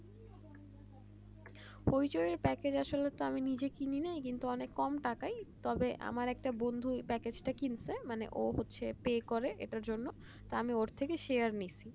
পরিচয় প্যাকেজ আসলে তো আমি নিজে কিনিনি কিন্তু অনেক কম টাকাই তবে আমার একটা বন্ধু এই প্যাকেজটা কিনছে মানে ও হচ্ছে একটা ইয়ে করে এটার জন্য আমি ওর থেকে Share নিচ্ছি